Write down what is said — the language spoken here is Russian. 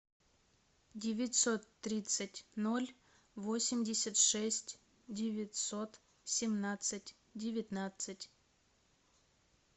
девятьсот тридцать ноль восемьдесят шесть девятьсот семнадцать девятнадцать